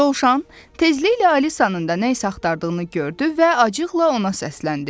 Dovşan tezliklə Alisanın da nə isə axtardığını gördü və acıqla ona səsləndi.